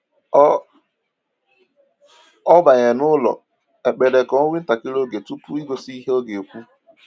O O banyere n'ụlọ ekpere ka o nwee ntakịrị oge udo tupu igosi ihe ọ ga-ekwu.